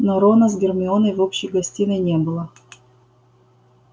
но рона с гермионой в общей гостиной не было